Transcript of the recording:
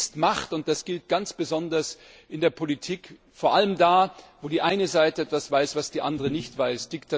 Wissen ist Macht, und das gilt ganz besonders in der Politik, vor allem da, wo die eine Seite etwas weiß, was die andere nicht weiß.